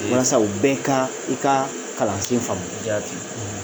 Walasa u bɛ ka i ka kalansen in faamu, jaati.